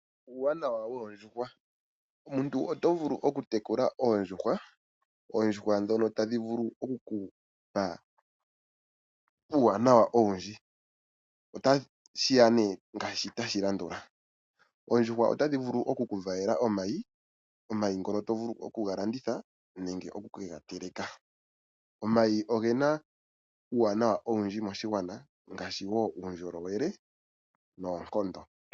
Uuwanawa woondjuhwa, omuntu oto vulu oku tekula oondjuhwa dhoka tadhi vulu oku kupa uuwanawa owudji. Otashiya ne ngashi tashi landula, oondjuhwa otadhi vulu oku ku valela omayi ngoka to vulu okuga landitha nenge oku kega teleka. Omayi ogena uuwanawa owundji moshigwana ngashi wo uundjolowele noonkondo.